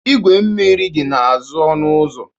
Igwe mmiri dị n'azụ ọnụ ụzọ